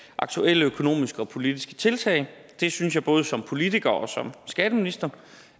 af aktuelle økonomiske og politiske tiltag det synes jeg både som politiker og som skatteminister